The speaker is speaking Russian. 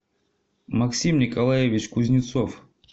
максим николаевич кузнецов